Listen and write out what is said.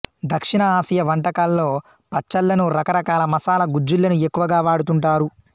దక్షిణ ఆసియా వంటకల్లో పచ్చళ్ళను రకరకాల మసాలా గుజ్జులను ఎక్కువగా వాడుతుంటారు